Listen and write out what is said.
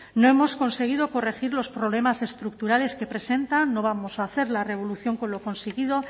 no hemos conseguido corregir los problemas estructurales que presenta no vamos a hacer la revolución con lo conseguido